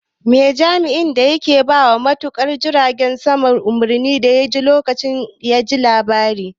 Me jami'in da yake bawa matuka jirgin sama umarni yace lokacin da yaji labarin?